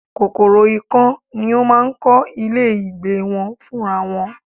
Kòkòrò ikán ni ó máa ń kọ́ ilé ìgbé wọn fún ra wọn